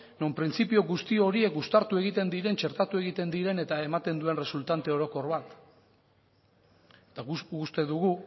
non printzipio guzti horiek uztartu egiten diren txertatu egiten diren eta eman duen resultante orokor bat eta uste dugu